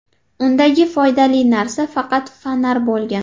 Undagi foydali narsa faqat fonar bo‘lgan.